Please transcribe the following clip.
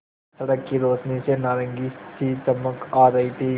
सड़क की रोशनी से नारंगी सी चमक आ रही थी